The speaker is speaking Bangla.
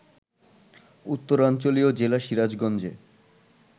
উত্তরাঞ্চলীয় জেলা সিরাজগঞ্জে